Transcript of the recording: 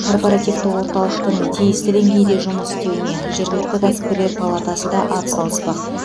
корпоративті орталықтың тиісті деңгейде жұмыс істеуіне жергілікті кәсіпкерлер палатасы да ат салыспақ